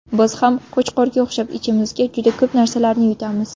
Biz ham Qo‘chqorga o‘xshab ichimizga juda ko‘p narsalarni yutamiz.